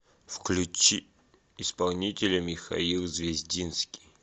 включи исполнителя михаил звездинский